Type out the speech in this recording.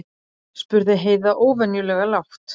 spurði Heiða óvenjulega lágt.